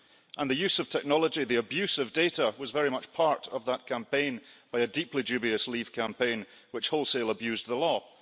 and the use of technology the abuse of data was very much part of that campaign by a deeply dubious leave campaign which wholesale abused the law.